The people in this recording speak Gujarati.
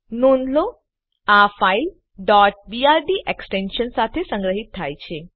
નોંધ લો આ ફાઈલ brd એક્સટેન્શન સાથે સંગ્રહિત થાય છે